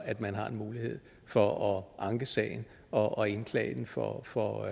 at man har en mulighed for at anke sagen og indklage den for for